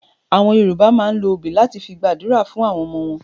Àwọn Yorùbá máa ń lo obì láti fi gba àdúrà fún àwọn ọmọ wọn.